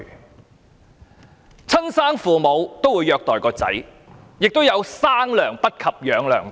有親生父母虐待子女，亦有"生娘不及養娘大"。